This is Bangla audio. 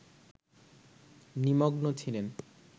নিমগ্ন ছিলেন